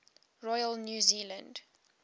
royal new zealand